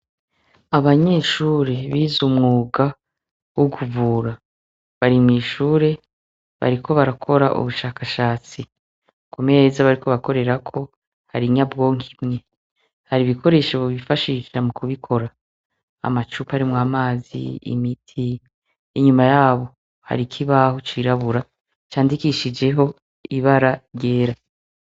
Abanyeshure bize umwuga wo kuvura, bari mw'ishure bariko barakora ubushakashatsi, kumeza bariko barakorerako hari inyabwonko imwe, hari ibikoresho bifashisha mu kubikora, amacupa arimwo amazi, imiti, inyuma yabo hari ikibaho cirabura candikishijeho ibara ryera.